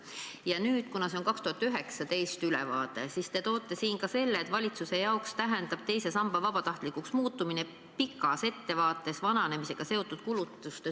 Ja nüüd, kuna see on 2019. aasta ülevaade, toote te siin välja ka selle, et valitsuse jaoks tähendab teise samba vabatahtlikuks muutmine pikas ettevaates vananemisega seotud kulutuste suurenemist.